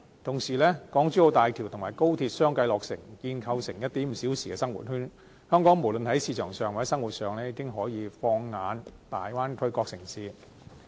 同時，港珠澳大橋和高鐵相繼落成，建構成 "1.5 小時生活圈"，香港無論在市場上或生活上，已經可以放眼大灣區各個城市。